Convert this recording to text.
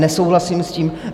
Nesouhlasím s tím.